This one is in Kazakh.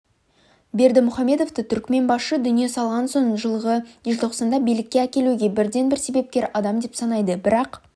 бердімұхаммедовті түркіменбашы дүние салған соң жылғы желтоқсанда билікке әкелуге бірден-бір себепкер адам деп санайды бірақ